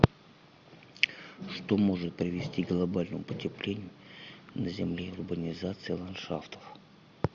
что может привести к глобальному потеплению на земле урбанизация ландшафтов